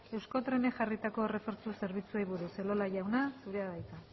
euskotrenek jarritako errefortzu zerbitzuei buruz elola jauna zurea da hitza